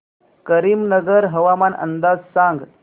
करीमनगर हवामान अंदाज सांग